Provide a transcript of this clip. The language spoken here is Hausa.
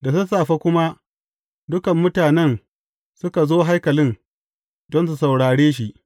Da sassafe kuma, dukan mutanen suka zo haikalin, don su saurare shi.